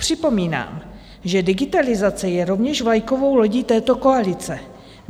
Připomínám, že digitalizace je rovněž vlajkovou lodí této koalice.